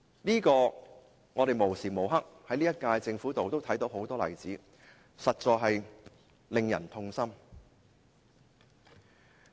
可是，我們時刻均可在這屆政府看到很多這樣的例子，實在令人痛心。